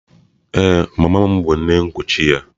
Ee, mama m bụ nne nkuchi ya.